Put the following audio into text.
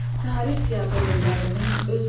Tarix yazır ellərimin öz əli.